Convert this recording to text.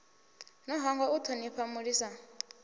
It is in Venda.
no hangwa u thonifha mulisa